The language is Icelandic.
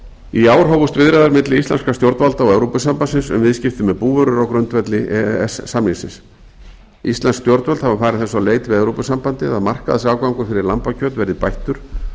í ár hófust viðræður milli íslenskra stjórnvalda og evrópusambandsins um viðskipti með búvörur á grundvelli e e s samningsins íslensk stjórnvöld hafa farið þess á leit við evrópusambandið að markaðsaðgangur fyrir lambakjöt verði bættur